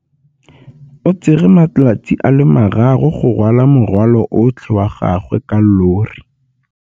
O tsere malatsi a le marraro go rwala morwalo otlhe wa gagwe ka llori.